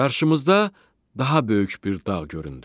Qarşımızda daha böyük bir dağ göründü.